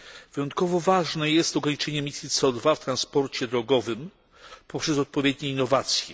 Wyjątkowo ważne jest ograniczenie emisji CO 2 w transporcie drogowym poprzez odpowiednie innowacje.